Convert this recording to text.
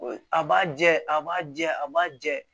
A b'a jɛ a b'a jɛ a b'a jɛ